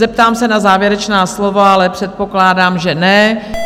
Zeptám se na závěrečná slova, ale předpokládám, že ne.